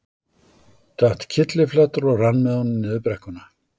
Datt kylliflatur og rann með honum niður brekkuna.